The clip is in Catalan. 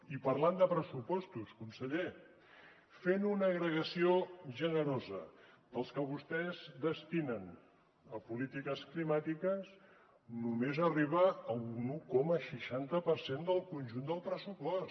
i parlant de pressupostos conseller fent una agregació generosa del que vostès destinen a polítiques climàtiques només arriba a un un coma seixanta per cent del conjunt del pressupost